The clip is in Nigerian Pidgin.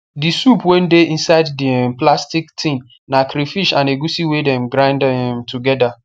the soup wey dey inside the um plastic tin na crayfish an egusi wey dem grind um together